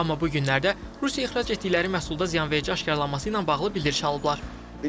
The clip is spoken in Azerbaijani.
Amma bu günlərdə Rusiya ixrac etdikləri məhsulda ziyanverici aşkarlanması ilə bağlı bildiriş alıblar.